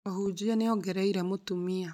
Mũhunjia nĩ ongereire mũtumia